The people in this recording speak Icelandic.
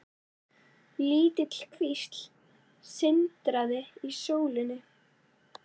Lítil kvísl sindraði í sólinni.